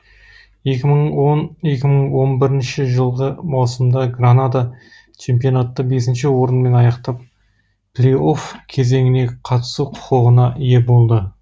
екі мың он екі мың он бірінші жылғы маусымда гранада чемпионатты бесінші орынмен аяқтап плей офф кезеңіне қатысу құқығына ие болды